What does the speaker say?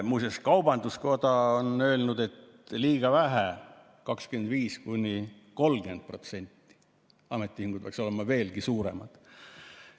Muuseas, kaubandus-tööstuskoda on öelnud, et seda on liiga vähe, 25–30%, ametiühingud peaksid olema veelgi suuremad.